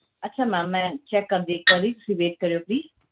ਅੱਛਾ ma'am ਮੈਂ check ਕਰਦੀ ਹਾਂ ਇੱਕ ਵਾਰੀ ਤੁਸੀਂ wait ਕਰਿਓ please